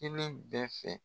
kelen bɛɛ fɛ.